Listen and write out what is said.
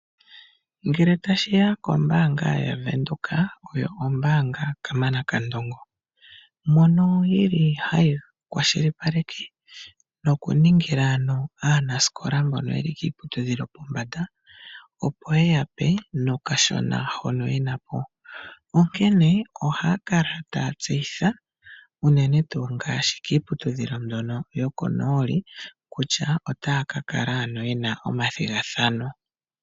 Ngele tashiya kombaanga yaVenduka oyo ombaanga kamana kandongo mono ye li haya kwashilipaleke noku ningila aanasikola mbono yeli kiiputudhilo yopombanda, opo ye ya pe nokashona hono ke li po, onkene ohaya kala taya tseyitha uunene tuu ngaashi kiiputudhilo mbyono yokonooli kutya otaya ka kala yena omathigathano.